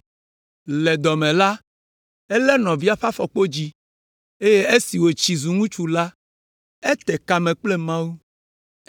Le dɔ me la, elé nɔvia ƒe afɔkpodzi, eye esi wòtsi zu ŋutsu la, ete kame kple Mawu.